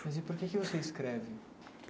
Mas e por que que você escreve?